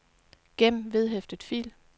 gem vedhæftet fil